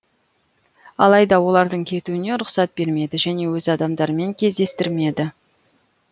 алайда олардың кетуіне рұқсат бермеді және өз адамдарымен кездестірмеді